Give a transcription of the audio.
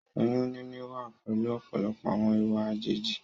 Oyún níní wá pẹ̀lú ọ̀pọ̀lọpọ̀ àwọn ìwà àjèjì